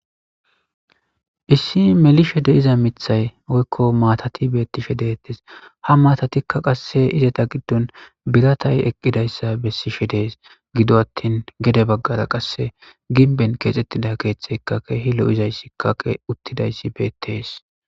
Issi melishe deiza mithay oykko maatati beettishe deettes hamaatatikka qasse izeta giddon biratay eqqidayssa bessishe dees gido attin gede baggara qasse ginben keexxettida keeththeykake hi'lo izayssikkaqe uttidayssi beettees.